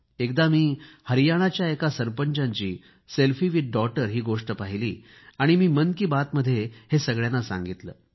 एकदा मी हरियाणाच्या एका सरपंचाची सेल्फी विथ डॉटर ही गोष्ट पाहिली आणि मी मन की बातमध्ये हे सगळ्यांना सांगितले